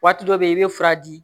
Waati dɔ bɛ yen i bɛ fura di